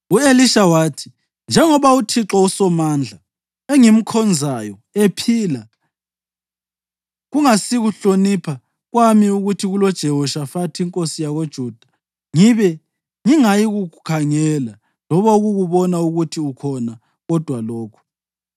U-Elisha wathi, “Njengoba uThixo uSomandla engimkhonzayo ephila, kungasikuhlonipha kwami ukuthi kuloJehoshafathi inkosi yakoJuda, ngibe ngingayikukukhangela loba ukukubona ukuthi ukhona kodwa lokhu.